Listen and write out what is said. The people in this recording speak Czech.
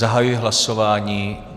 Zahajuji hlasování.